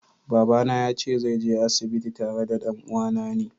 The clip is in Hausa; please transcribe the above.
Baba na yace zai je asibiti tare da dan'uwane na.